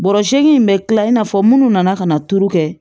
Bɔrɔ segin in bɛ kila i n'a fɔ minnu nana ka na turu kɛ